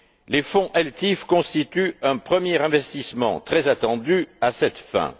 Les ELTIF constituent un premier investissement très attendu à cette fin.